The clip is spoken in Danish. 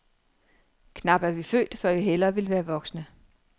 Knap er vi født, før vi hellere vil være voksne.